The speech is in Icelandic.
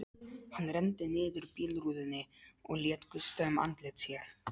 Hann renndi niður bílrúðunni og lét gusta um andlit sér.